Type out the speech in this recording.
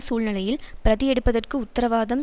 சூழ்நிலையில் பிரதி எடுப்பதற்கு உத்தரவாதம்